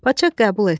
Padşah qəbul etdi.